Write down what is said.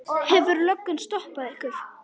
Hefur löggan stoppað ykkur?